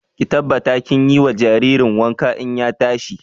Ki tabbata kin yi wa jaririn wanka in ya tashi!